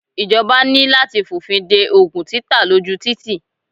Ìjọba ní láti f'ọ̀fin de Ògùn títà ló jù títì.